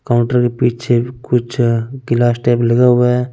Counter के पीछे कुछ अः गिलास टाइप रखा हुआ है।